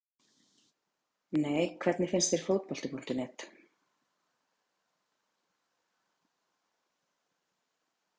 Nei Hvernig finnst þér Fótbolti.net?